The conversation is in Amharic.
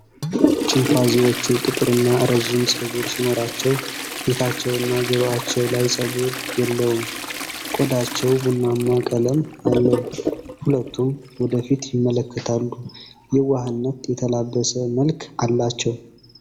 ቺምፓንዚዎቹ ጥቁርና ረጅም ፀጉር ሲኖራቸው፣ ፊታቸውና ጆሮአቸው ላይ ፀጉር የለውም፤ ቆዳቸው ቡናማ ቀለም አለው። ሁለቱም ወደ ፊት ይመለከታሉ፣ የዋህነት የተላበሰ መልክ አላቸው።